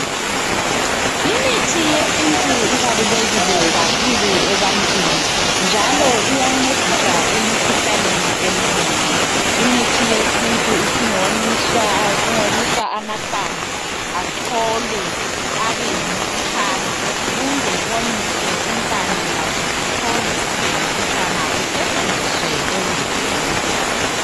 Imithi yesintu ibalulekile kakhulu ebantwini njalo iyancedisa emikhuhlaneni eminengi. Imithi yesintu isingonyiswa amahlamvu acholwe abeyimputshana kumbe kuwonyiswe impande lazo zichole zibe yimputshana kusetshenziswe ekudleni.